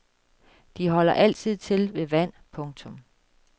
De holder altid til ved vand. punktum